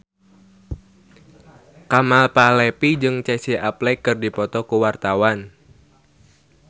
Kemal Palevi jeung Casey Affleck keur dipoto ku wartawan